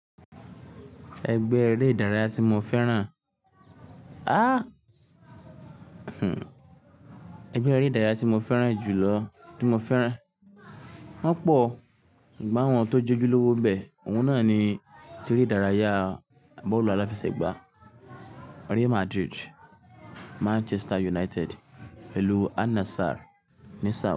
Ẹgbẹ́ eré ìdárayá tí mo fẹ́ràn, aá, ẹgbẹ́ eré ìdárayá tí mo fẹ́ràn jù lọ tí mo fẹ́ràn, wọn pọ̀. Ṣùgbọ́n àwọn tó jojú lówó bẹ, òun náà ni tí eré ìdárayá bọ́ọ̀lù aláfẹsẹ̀gbá. Real Madrid, Manchester United, ìlú Al-Nassr ní Saudi.